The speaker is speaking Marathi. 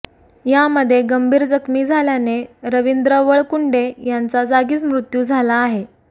यामध्ये गंभीर जखमी झाल्याने रवींद्र वळकुंडे यांचा जागीच मृत्यू झाला आहे